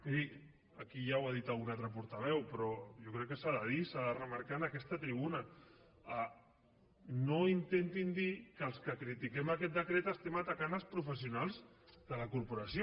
miri aquí ja ho ha dit algun altre portaveu però jo crec que s’ha de dir i s’ha de remarcar en aquesta tribuna no intentin dir que els que critiquem aquest decret estem atacant els professionals de la corporació